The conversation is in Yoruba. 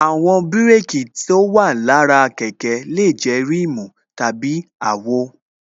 Àwọn bírékī tí ó wà lára kẹ̀kẹ́ lè jẹ́ rimu tàbí àwo